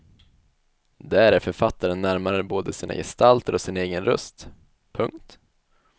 Där är författaren närmare både sina gestalter och sin egen röst. punkt